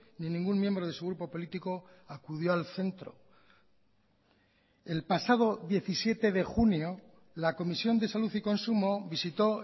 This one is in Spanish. ni ningún miembro de su grupo político acudió al centro el pasado diecisiete de junio la comisión de salud y consumo visitó